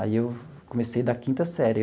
Aí eu comecei da quinta série.